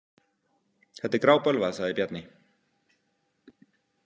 Þetta er grábölvað, sagði Bjarni.